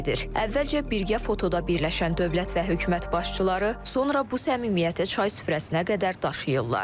Əvvəlcə birgə fotoda birləşən dövlət və hökumət başçıları, sonra bu səmimiyyəti çay süfrəsinə qədər daşıyırlar.